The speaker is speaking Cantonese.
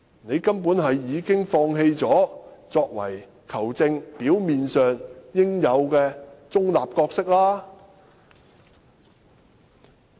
你根本已經放棄了作為球證應有的表面中立。